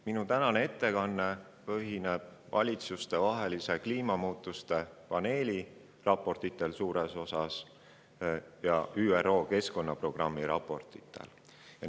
Minu tänane ettekanne põhineb suures osas valitsustevahelise kliimamuutuste paneeli raportitel ja ÜRO Keskkonnaprogrammi raportitel.